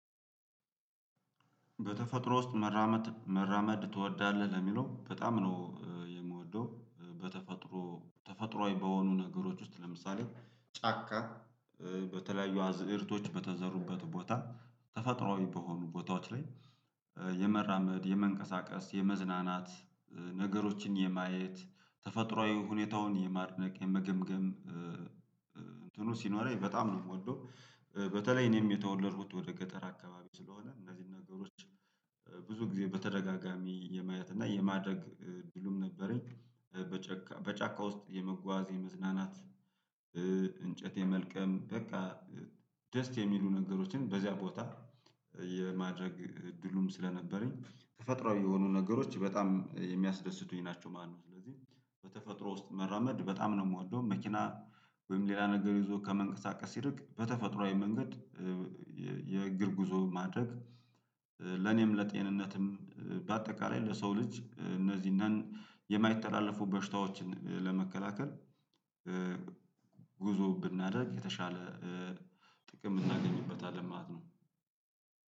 "በተፈጥሮ ውስጥ መራመድ መራመድ ትወዳለህ?" ለሚለው፤ በጣም ነው የምወደው። በተፈጥሮ ተፈጥሮአዊ በሆኑ ነገሮች ውስጥ፤ ለምሳሌ ጫካ በተለያዩ አዝእርቶች በተዘሩበት ቦታ ተፈጥሮአዊ በሆኑ ቦታዎች ላይ የመራመድ፣ የመንቀሳቀስ፣ የመዝናናት ነገሮችን የማየት ተፈጥሮአዊ ሁኔታውን የማድነቅ የመገምገም እንትኑ ሲኖረኝ በጣም ነው የምወደው። በተለይ እኔም የተወለድኩት ወደ ገጠር አካባቢ ስለሆነ እነዚህን ነገሮች ብዙ ጊዜ በተደጋጋሚ የማየት እና የማድረግ እድሉም ነበረኝ። በጫካ በጫካ ውስጥ የመጓዝ የመዝናናት እንጨት የመልቀም በቃ ደስ የሚሉ ነገሮችን በዚያ ቦታ የማድረግ እድሉም ስለነበረኝ፤ ተፈጥሮአዊ የሆኑ ነገሮች በጣም የሚያስደስቱኝ ናቸው ማለት ነው። ስለዚህ በተፈጥሮ ውስጥ መራመድ በጣም ነው የምወደው። መኪና ወይም ሌላ ነገር ይዞ ከመንቀሳቀስ ይልቅ በተፈጥሮአዊ መንገድ የእግር ጉዞ ማድረግ ለኔም ለጤንነትም በአጠቃላይ ለሰው ልጅ እነዚህን የማይተላለፉ በሽታዎችን ለመከላከል ጉዞ ብናደርግ የተሻለ ጥቅም የምናገኝበታለን ማለት ነው።